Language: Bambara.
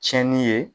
Tiɲɛni ye